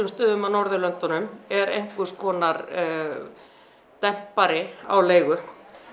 stöðum á Norðurlöndunum er einhverskonar á leigu